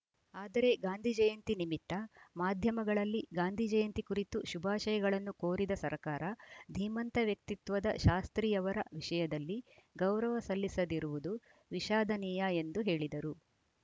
ಆದರೆ ಗಾಂಧಿಜಯಂತಿ ನಿಮಿತ್ತ ಮಾಧ್ಯಮಗಳಲ್ಲಿ ಗಾಂಧಿ ಜಯಂತಿ ಕುರಿತು ಶುಭಾಶಯಗಳನ್ನು ಕೋರಿದ ಸರಕಾರ ಧೀಮಂತ ವ್ಯಕ್ತಿತ್ವದ ಶಾಸ್ತ್ರಿಯವರ ವಿಷಯದಲ್ಲಿ ಗೌರವ ಸಲ್ಲಿಸದಿರುವುದು ವಿಷಾದನೀಯ ಎಂದು ಹೇಳಿದರು